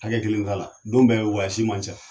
Hakɛ kelen t'a la don bɛɛ man ca